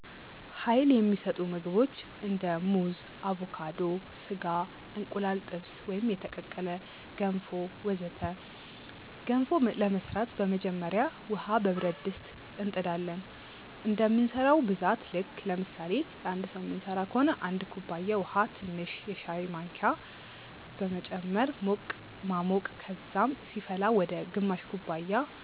Uይል የሚሰጡ ምግቦች እንደ ሙዝ አቮካዶ፣ ስጋ፣ እንቁላል ጥብስ ወይም የተቀቀለ፣ ገንፎ ወዘተ ገንፎ ለመስራት በመጀመሪያ ውሃ በብረት ድስት እንጥ ዳለን እንደምንሰራው ብዛት ልክ ለምሳሌ ለአንድ ሰዉ ምንስራ ቢሆን 1 ኩባያ ውሃ ትንሽ የሻይ ማንኪያ በመጨመር ማሞቅ ከዛም ሲፈላ ወደ ግማሽ ኩባያ